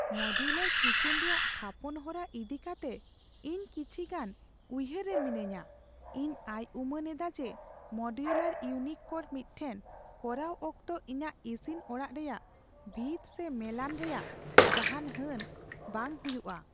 Modular kitchen ᱨᱮᱭᱟᱜ ᱛᱷᱟᱯᱚᱱ ᱦᱚᱨᱟ ᱤᱫᱤ ᱠᱟᱛᱮ ᱤᱧ ᱠᱤᱪᱷᱤᱜᱟᱱ ᱩᱭᱦᱟᱹᱨ ᱨᱮ ᱢᱤᱱᱟᱹᱧᱟ ᱾ ᱤᱧ ᱟᱭ ᱩᱢᱟᱹᱱ ᱮᱫᱟ ᱡᱮ, ᱢᱳᱰᱩᱞᱟᱨ ᱤᱭᱩᱱᱤᱴ ᱠᱚ ᱢᱤᱫᱴᱷᱮᱱ ᱠᱚᱨᱟᱣ ᱚᱠᱛᱚ ᱤᱧᱟᱹᱜ ᱤᱥᱤᱱ ᱚᱲᱟᱜ ᱨᱮᱭᱟᱜ ᱵᱷᱤᱛ ᱥᱮ ᱢᱮᱞᱟᱱ ᱨᱮᱭᱟᱜ ᱡᱟᱦᱟᱱ ᱦᱟᱹᱱ ᱵᱟᱝ ᱦᱩᱭᱩᱜᱼᱟ ᱾